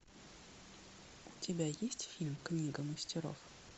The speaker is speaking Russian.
у тебя есть фильм книга мастеров